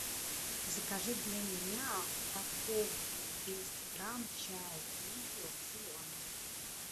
закажи для меня упаковку двести грамм чай гринфилд зеленый